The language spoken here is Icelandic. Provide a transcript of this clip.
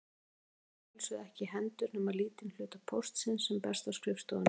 Forseti fær að sjálfsögðu ekki í hendur nema lítinn hluta póstsins sem berst á skrifstofuna.